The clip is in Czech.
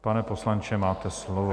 Pane poslanče, máte slovo.